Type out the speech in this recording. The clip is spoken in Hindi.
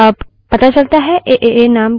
अतः वहाँ एक error प्रदर्शित होती है